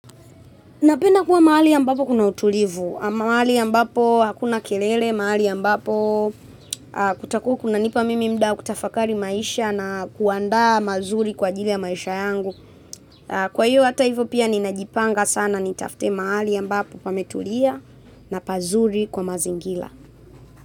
Napenda kuwa mahali ambapo kuna utulivu, mahali ambapo hakuna kelele, mahali ambapo kutakuwa kunanipa mimi muda wa kutafakari maisha na kuandaa mazuri kwa ajili ya maisha yangu. Kwa hiyo hata hivo pia ninajipanga sana nitafute mahali ambapo pametulia na pazuri kwa mazingira.